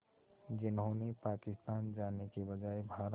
जिन्होंने पाकिस्तान जाने के बजाय भारत